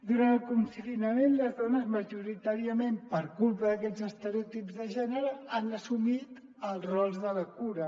durant el confinament les dones majoritàriament per culpa d’aquests estereo·tips de gènere han assumit els rols de la cura